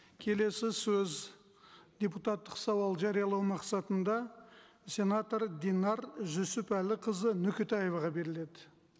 келесі сөз депутаттық сауал жариялау мақсатында сенатор динар жүсіпәліқызы нөкетаеваға беріледі